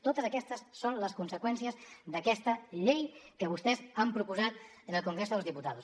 totes aquestes són les conseqüències d’aquesta llei que vostès han proposat en el congreso de los diputados